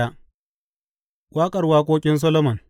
Waƙar Waƙoƙin Solomon.